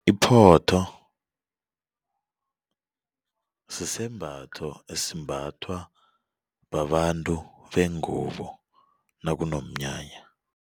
Iphotho sisembatho esimbathwa babantu bengubo nakunomnyanya.